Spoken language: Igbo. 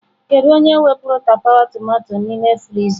Kedu onye wepụrụ tapawa tomato n'ime friza?